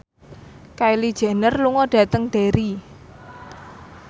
Kylie Jenner lunga dhateng Derry